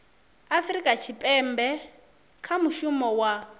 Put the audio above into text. afurika tshipembe kha mushumo wa